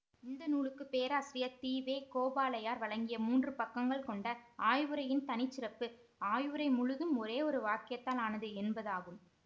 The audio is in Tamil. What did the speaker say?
இந்த நூலுக்கு பேராசிரியர் தி வே கோபாலையர் வழங்கிய மூன்று பக்கங்கள் கொண்ட ஆய்வுரையின் தனி சிறப்பு ஆய்வுரை முழுதும் ஒரே ஒரு வாக்கியத்தால் ஆனது என்பதாகும்